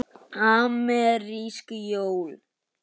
Amerísk jól.